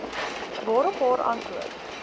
waarop haar antwoord